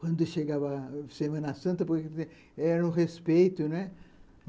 Quando chegava a Semana Santa, porque era um respeito, né?